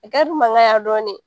mankan ya dɔɔnin